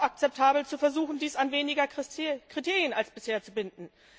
Es ist auch akzeptabel zu versuchen, dies an weniger Kriterien als bisher zu binden.